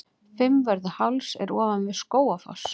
Fimmvörðuháls er ofan við Skógafoss.